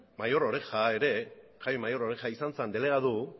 jaime mayor oreja izan zen delegatu